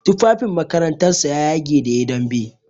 Tufafin makarantar sa ya yage da yayi dambe.